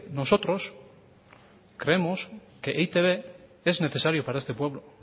nosotros creemos que e i te be es necesario para este pueblo